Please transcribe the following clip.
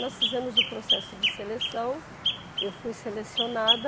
Nós fizemos o processo de seleção, eu fui selecionada.